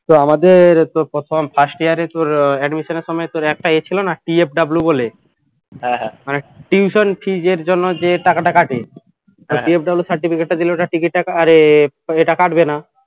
তো আমাদের তো প্রথম first year এ তোর admission এর সময় তোর একটা ইয়ে ছিল না PFW বলে মানে tuition fees এর জন্য যে টাকাটা কাটে PFWcertificate টা দিলে ওটা ticket টা আরে এটা কাটবে না